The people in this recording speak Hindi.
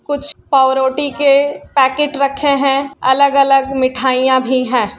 कुछ पावरोटी के पैकेट रखे हैं अलग-अलग मिठाइयाँ भी हैं।